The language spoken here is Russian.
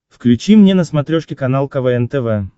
включи мне на смотрешке канал квн тв